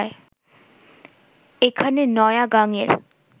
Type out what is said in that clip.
এখানে নয়া গাঙের